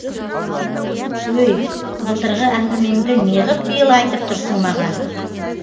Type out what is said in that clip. өй былтырғы әңгімеңді неғып биыл айтып тұрсың маған